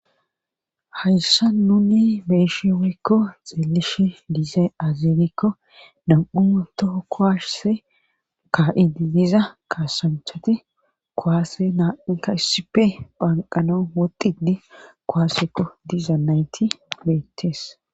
Hayssa nuni beeshi wuykko xilishe diizae azirikko nam'u too kowashse ka7idiliza kaasanchati kowaase naainka issipe phanqano wodidi kowaasekko diza nayti beettees.